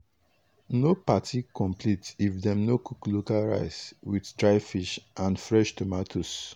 no party complete if dem no cook local rice with dry fish and fresh tomatoes.